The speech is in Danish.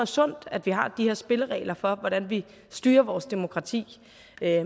sundt at vi har de her spilleregler for hvordan vi styrer vores demokrati